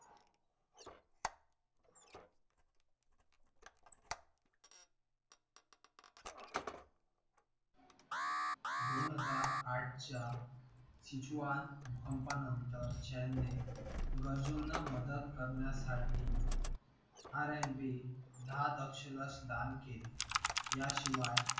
दोन हजार आठच्या भूकंपानंतर chan ने गरजूना मदत करण्यासाठी r and b दहा दक्ष लक्ष दान केली याशिवाय